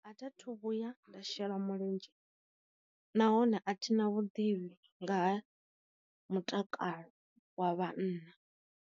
A tha thu vhuya nda shela mulenzhe, nahone a thina vhuḓivhi nga ha mutakalo wa vhanna.